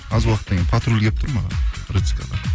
аз уақыттан кейін патруль келіп тұр маған